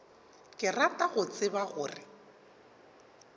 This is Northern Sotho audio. ke rata go tseba gore